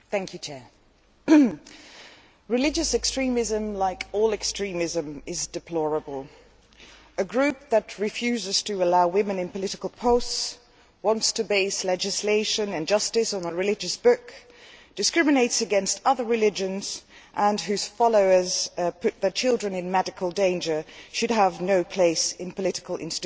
Mr President, religious extremism, like all extremism, is deplorable. A group that refuses to allow women in political posts, wants to base legislation and justice on a religious book and discriminates against other religions, and whose followers put their children in medical danger, should have no place in political institutions.